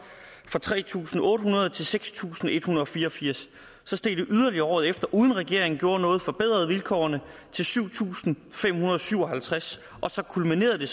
fra tre tusind otte hundrede til seks tusind en hundrede og fire og firs så steg det yderligere året efter uden at regeringen gjorde noget men forbedrede vilkårene til syv tusind fem hundrede og syv og halvtreds og så kulminerede det